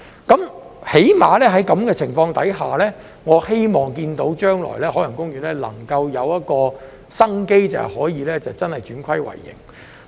最低限度在這種情況下，我希望看到海洋公園將來能有一線生機，可以真的轉虧為盈。